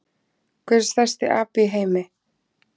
Hver er stærsti api í heimi?